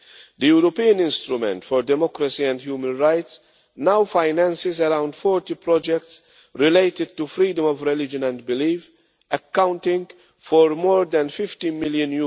The European Instrument for Democracy and Human Rights now finances around 40 projects related to freedom of religion and belief accounting for more than EUR 15 million.